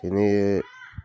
Cɛnin ye